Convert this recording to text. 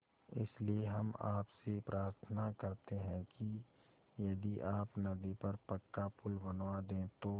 इसलिए हम आपसे प्रार्थना करते हैं कि यदि आप नदी पर पक्का पुल बनवा दे तो